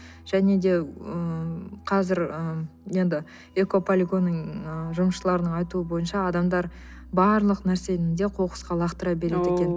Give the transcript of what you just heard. және де ыыы қазір ы енді экополигонның ы жұмысшыларының айтуы бойынша адамдар барлық нәрсені де қоқысқа лақтыра береді екен